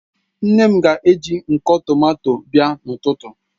Nne m ga eji nko tomato abịa n'ututu